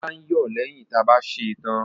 Ilá ń yọ̀ lẹ́yìn ta bá sèe tán.